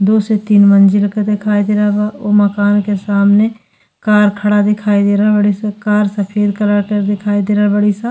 दो से तीन मंजिला का दिखाई दे रहल बा। ओ मकान के सामने कार खड़ा दिखाई दे रहल बाड़ीस। कार सफ़ेद कलर के दिखाई दे रहल बाड़ीस।